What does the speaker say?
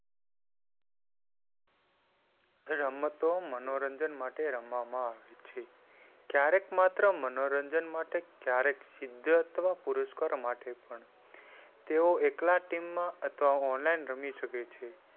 રમતો મનોરંજન માટે રમવામાં આવે છે. ક્યારેક માત્ર મનોરંજન માટે ક્યારેક સિદ્ધ અથવા પુરુષકારો માટે પણ તેઓ એકલા ટીમ માં અથવા online રમી શકે છે.